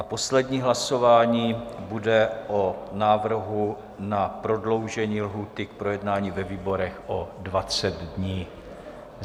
A poslední hlasování bude o návrhu na prodloužení lhůty k projednání ve výborech o 20 dní.